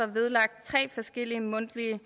vedlagt tre forskellige mundtlige